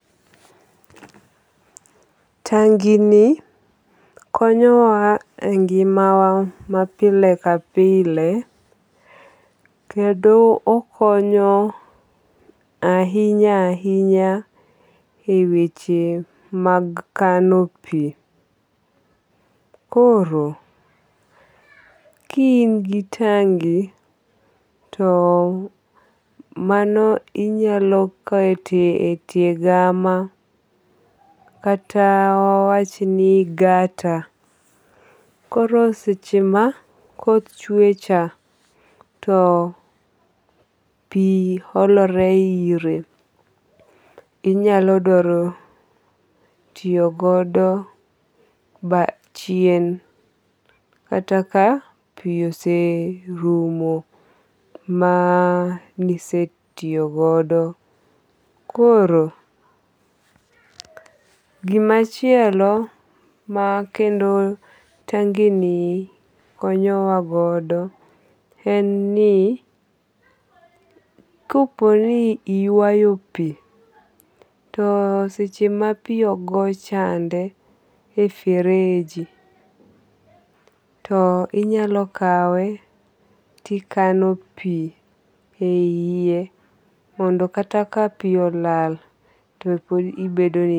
Tangi ni konyo wa e ngima wa ma pile ka pile. Kendo okonyo ahinya ahinya e weche mag kano pi. Koro, ki in gi tangi to mano inyalo kete e tie gama kata wa wach ni gata. Koro seche ma koth chwe cha to pi olore ire. Inyalo dwaro tiyo godo chien kata ka pi ose rumo manise tiyo godo. Koro gimachielo ma kendo tangi ni konyo wa godo en ni kopo ni iywayo pi to seche ma pi ogo chandi e fereji to inyalo kawe tikano pi a yie mondo kata ka pi olal to pod ibedo.